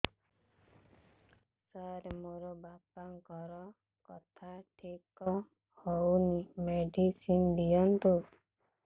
ସାର ମୋର ବାପାଙ୍କର କଥା ଠିକ ହଉନି ମେଡିସିନ ଦିଅନ୍ତୁ